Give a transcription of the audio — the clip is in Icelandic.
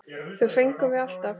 Það fengum við alltaf.